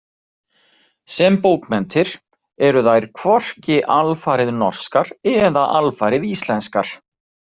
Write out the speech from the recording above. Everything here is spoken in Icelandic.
Sem bókmenntir eru þær hvorki alfarið norskar eða alfarið íslenskar.